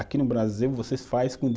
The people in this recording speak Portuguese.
Aqui no Brasil, vocês faz com de